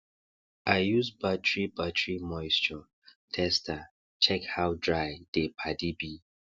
i use battery battery moisture tester check how dry dey paddy be